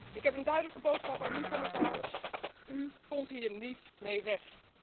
Ik heb een duidelijke boodschap aan u, commissaris u komt hier niet mee weg.